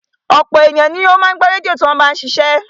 Ọ̀pọ̀lọpọ̀ ènìyàn ni ó máa ń gbọ́ rédíò tí wọ́n bá ń ṣiṣẹ́